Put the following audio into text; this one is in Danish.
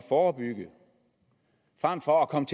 forebygge frem for at komme